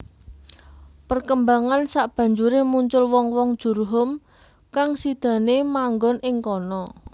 Perkembangan sabanjuré muncul wong wong Jurhum kang sidané manggon ing kana